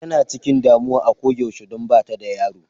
Tana chikin damuwa a koyaushe don bata da yaro.